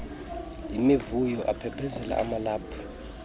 yimivuyo aphephezela amalaphu